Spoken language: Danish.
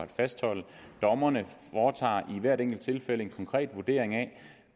fastholde dommerne foretager i hvert enkelt tilfælde en konkret vurdering af